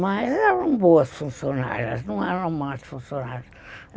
Mas eram boas funcionárias, não eram más funcionárias.